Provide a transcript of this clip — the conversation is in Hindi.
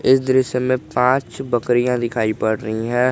इस दृश्य मे पांच बकरियां दिखाई पड़ रही हैं।